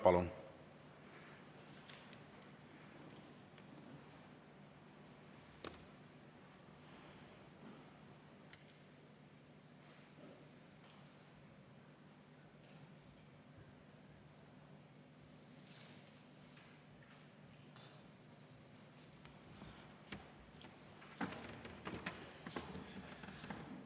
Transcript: Palun!